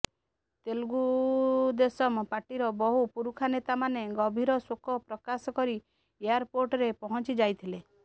ତେଲୁଗୁଦେଶମ ପାର୍ଟିର ବହୁ ପୁରୁଖାନେତାମାନେ ଗଭୀରଶୋକ ପ୍ରକାଶ କରି ଏୟାରପୋର୍ଟରେ ପହଁଚିଯାଇଥିଲେ